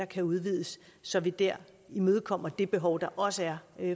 kan udvides så vi der imødekommer det behov der også er